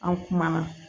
An kumana